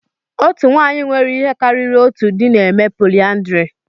Otu nwanyị nwere ihe karịrị otu di na-eme polyandry.